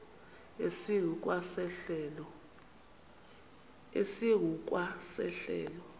esingu kwa sehlelo